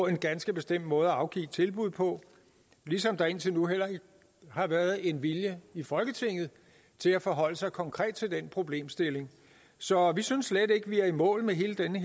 en ganske bestemt måde at afgive tilbud på ligesom der indtil nu heller ikke har været en vilje i folketinget til at forholde sig konkret til den problemstilling så vi synes slet ikke vi er i mål med hele denne